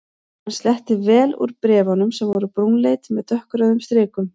Hann sletti vel úr bréf- unum sem voru brúnleit með dökkrauðum strikum.